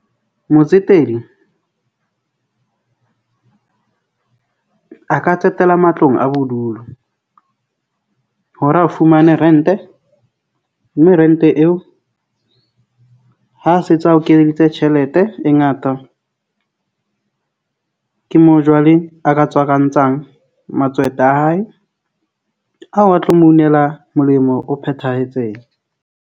Motsetedi a ka tsetela matlong a bodulo hore a fumane rent-e mme rent-e eo. Ha sentse a o kenyeditse tjhelete e ngata. Ke moo jwale a ka a hae, a tlo mo inela molemo o phethahetseng.